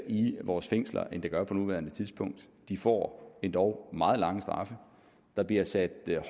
i vores fængsler end der gør på nuværende tidspunkt de får endog meget lange straffe der bliver sat